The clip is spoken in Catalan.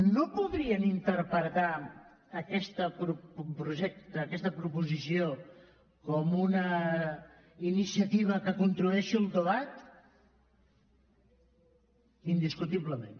no podrien interpretar aquest projecte aquesta proposició com una iniciativa que contribueixi al debat indiscutiblement